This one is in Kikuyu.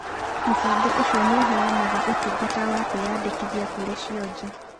Mũbango ũcio nĩũheyaga ũtungata wa kũĩyandĩkithia kũrĩ cionje.